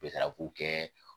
kɛ